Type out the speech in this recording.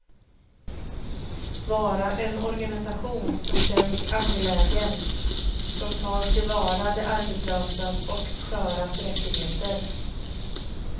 Vara en organisation som känns angelägen, som tar tillvara de arbetslösas och sköras rättigheter.